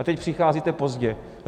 A teď přicházíte pozdě.